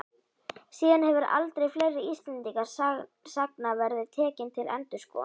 Síðan hefur aldur fleiri Íslendingasagna verið tekinn til endurskoðunar.